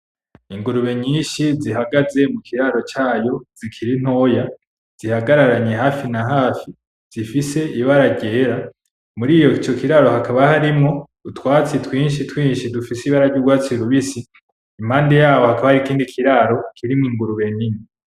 Ingurube nyinshi zihagaze mu kiraro cayo zikiri ntoya, zihagararanye hafi na hafi , zifise ibara ryera , muri ico kiraro hakaba harimwo utwatsi twinshi twinshi dufise ibara ry'urwatsi rubisi, impande yaho hakaba hari ikindi kiraro kirimwo ingurube nini.